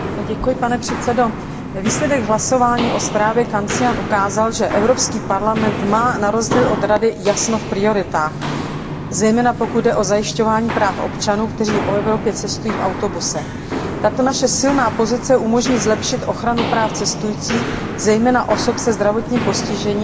Výsledek hlasování o zprávě Antonia Canciana ukázal, že Evropský parlament má na rozdíl od Rady jasno v prioritách, zejména pokud jde o zajišťování práv občanů, kteří po Evropě cestují v autobusech. Tato naše silná pozice umožní zlepšit ochranu práv cestujících, zejména osob se zdravotním postižením a omezenou pohyblivostí.